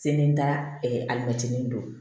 Seli n taara alimɛtinin don